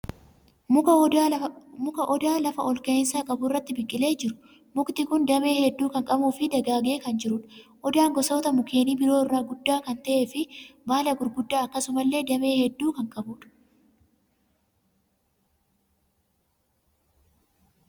Muka Odaa lafa olka'insa qabu irratti biqilee jiru. Mukti kun damee hedduu kan qabuu fi dagaagee kan jirudha. Odaan gosoota mukeenii biroo irra guddaa kan ta'ee fi baala gurguddaa akkasumas damee hedduu kan qabudha.